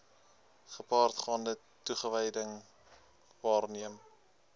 gepaardgaande toewyding waarmee